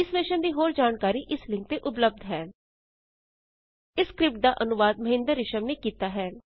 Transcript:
ਇਸ ਮਿਸ਼ਨ ਦੀ ਹੋਰ ਜਾਣਕਾਰੀ ਇਸ ਲਿੰਕ ਤੇ ਉਪਲੱਭਦ ਹੈ httpspoken tutorialorgNMEICT Intro ਇਸ ਸਕਰਿਪਟ ਦਾ ਅਨੁਵਾਦ ਮਹਿੰਦਰ ਰਿਸ਼ਮ ਨੇ ਕੀਤਾ ਹੈ